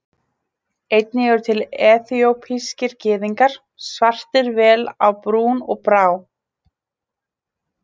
Einnig eru til eþíópískir Gyðingar, svartir vel á brún og brá.